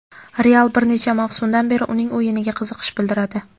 "Real" bir necha mavsumdan beri uning o‘yiniga qiziqish bildiradi.